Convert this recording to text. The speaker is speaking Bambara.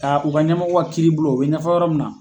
u ka ɲɛmɔgɔ ka kiiribulon u bɛ ɲafɔ yɔrɔ min na.